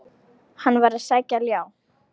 Hann var að sækja ljá.